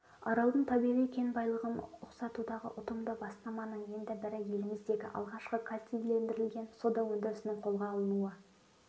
аралдың табиғи кен байлығын ұқсатудағы ұтымды бастаманың енді бірі еліміздегі алғашқы кальцийлендірілген сода өндірісінің қолға алынуы